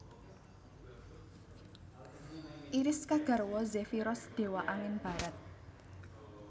Iris kagarwa Zefiros dewa angin barat